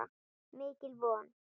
Mikil von.